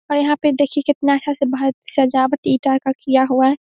और यहां पे देखिए कितना अच्छा से बहुत सजवाट ईटा का किया हुआ है।